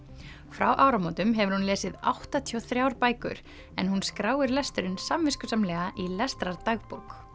frá áramótum hefur hún lesið áttatíu og þrjár bækur en hún skráir lesturinn samviskusamlega í